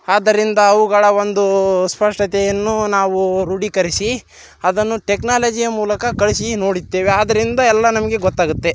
ಆದರಿಂದ ಅವುಗಳ ಒಂದು ಸ್ಪಷ್ಟತೆಯನ್ನು ನಾವು ರುಡಿಕರಿಸಿ ಅದನ್ನು ಟೆಕ್ನಾಲಜಿಯ ಮುಲಕ ಕಳಿಸಿ ನೊಡುತ್ತೆವೆ ಆದರಿಂದ ಎಲ್ಲಾ ನಮಗೆ ಗೊತ್ತಾಗುತ್ತೆ .